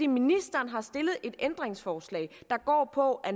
ministeren har stillet ændringsforslag der går på at